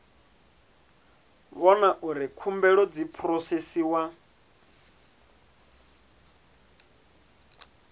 vhona uri khumbelo dzi phurosesiwa